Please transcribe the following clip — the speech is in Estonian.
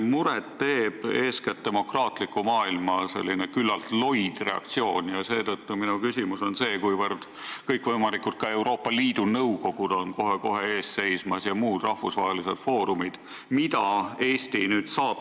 Mulle teeb muret eeskätt demokraatliku maailma küllalt loid reaktsioon, millest ka minu küsimus, kuivõrd kohe-kohe seisavad ees kõikvõimalikud Euroopa Liidu nõukogude ja muude rahvusvaheliste foorumite kogunemised.